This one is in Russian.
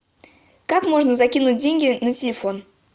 как можно закинуть деньги на телефон